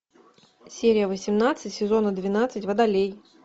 серия восемнадцать сезона двенадцать водолей